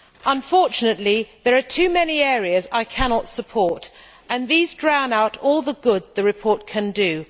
Unfortunately, there are too many areas I cannot support and these drown out all the good the report can do.